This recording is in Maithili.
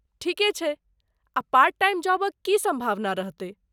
ठीके छै ,आ पार्ट टाइम जॉबक की सम्भावना रहतै?